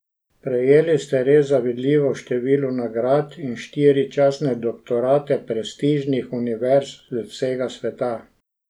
Prejeli ste res zavidljivo število nagrad in štiri častne doktorate prestižnih univerz z vsega sveta.